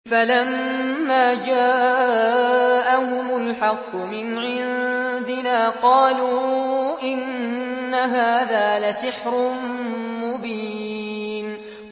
فَلَمَّا جَاءَهُمُ الْحَقُّ مِنْ عِندِنَا قَالُوا إِنَّ هَٰذَا لَسِحْرٌ مُّبِينٌ